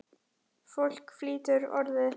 Fólk flytur Orðið.